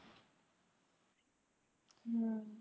ਹਮ